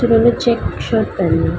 जिन्होंने check shirt पहनी हुई है।